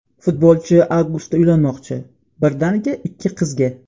Futbolchi avgustda uylanmoqchi, birdaniga ikki qizga!.